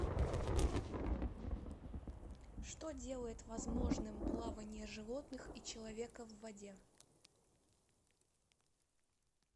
что делает возможным плавание животных и человека в воде